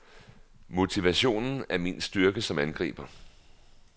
Motivationen er min styrke som angriber.